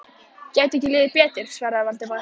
Gæti ekki liðið betur svaraði Valdimar.